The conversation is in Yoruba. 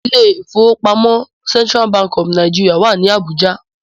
The Central Bank of Nigeria is in Abuja